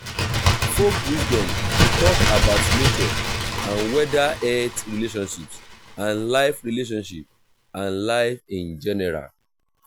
folk wisdom de talk about nature and weather health relationships and life relationships and life in general